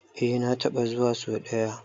Eh na taɓa zuwa so ɗaya.